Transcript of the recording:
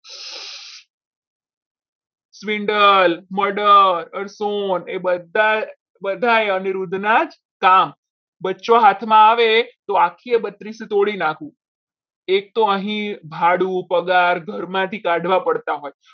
sandal Murder એ બધાય બધા અનિરુદ્ધના જ કામ બચ્યો હાથમાં આવે તો આખી બત્રીસી તોડી નાખે એક તો અહીં ભાડું પગાર ઘરમાંથી કાઢવા પડતા હોય.